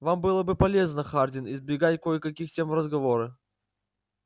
вам было бы полезно хардин избегать кое-каких тем в разговоре